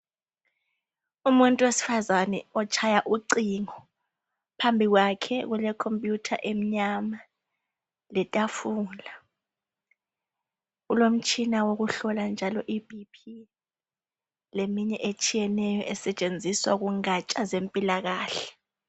Umuntu owesifazani otshaya ucingo phambi kwakhe kulekhomputha emnyama letafula, ulomtshina owokuhlola njalo iBP leminye etshiyeneyo esetshenziswa kungantsha zempilakahle.